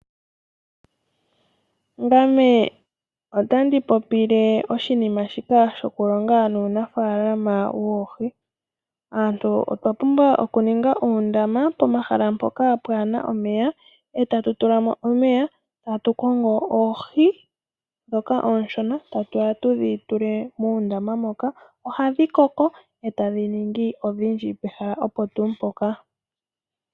Ngame otandi popile oshinima shika shoku longa nuunafalama woohi. Aantu otwa pumbwa oku ninga uundama pomahala mpoka kapuna omeya, eta tulamo omeya, etatu kongo oohi dhoka ooshona, ta tuya tudhi tule muundama moka , ohadhi koko etadhi ningi odhindji pehala opo tuu mpoka.